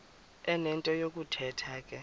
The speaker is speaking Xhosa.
enento yokuthetha ke